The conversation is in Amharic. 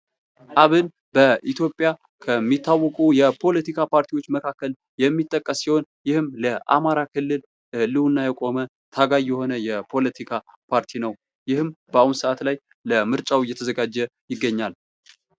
አብን በኢትዮጵያ ከሚታወቁ የፖለቲካ ፓርቲዎች መካከል የሚጠቀስ ሲሆን ይህም ለአማራ ክልል ህልውና የቆመ ታጋይ የሆነ የፖለቲካ ፓርቲ ነው:: ይህም በአሁኑ ሰዓት ላይ ለምርጫ እየተዘጋጀ ይገኛል::